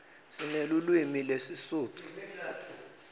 sinelulwimi lesisutfu